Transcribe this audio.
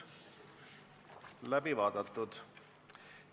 Läbi vaadatud.